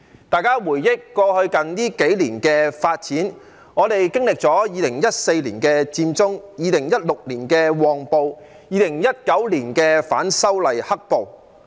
大家回憶過去數年的發展，我們經歷了2014年的佔中、2016年的"旺暴"及2019年的反修例"黑暴"。